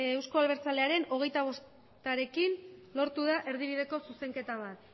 eusko abertzalearen hogeita bostarekin lortu da erdibideko zuzenketa bat